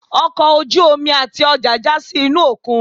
ọkọ ojú-omi atí ọja ja sí inú okún